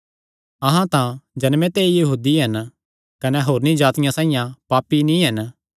अहां तां जन्म ते ई यहूदी हन कने होरनी जातिआं साइआं पापी नीं हन